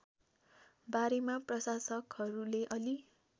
बारेमा प्रशासकहरूले अलि